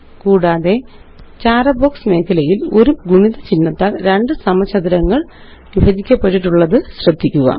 കൂടാതെ വ്രൈട്ടർ ചാര ബോക്സ് മേഖലയില് ഒരു ഗുണിത ചിഹ്നത്താല് രണ്ട് സമചതുരങ്ങള് വിഭജിക്കപ്പെട്ടിട്ടുള്ളത് ശ്രദ്ധിക്കുക